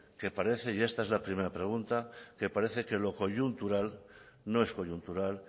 que parece y esta es la primera pregunta que parece que lo coyuntural no es coyuntural